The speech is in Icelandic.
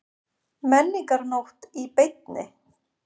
Menningarnótt í beinni